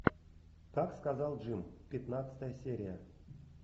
как сказал джим пятнадцатая серия